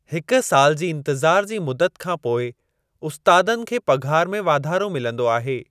हिक साल जी इंतिज़ार जी मुदत खां पोइ उस्तादनि खे पघार में वाधारो मिलंदो आहे।